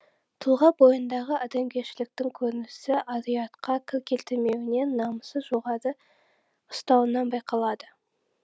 тұлға бойындағы адамгершіліктің көрінісі ар ұятқа кір келтірмеуінен намысын жоғары ұстауынан байқалады